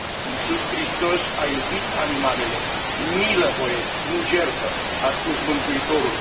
Iisus Hristos a iubit animalele, milă voiesc, nu jertfă, a spus Mântuitorul.